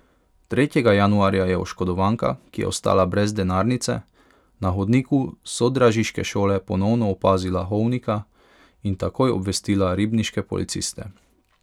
Tretjega januarja je oškodovanka, ki je ostala brez denarnice, na hodniku sodražiške šole ponovno opazila Hovnika in takoj obvestila ribniške policiste.